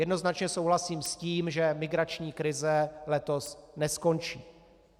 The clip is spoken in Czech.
Jednoznačně souhlasím s tím, že migrační krize letos neskončí.